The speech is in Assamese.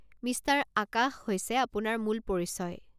মিষ্টাৰ আকাশ হৈছে আপোনাৰ মূল পৰিচয়।